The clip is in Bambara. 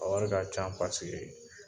A wari ka can pasike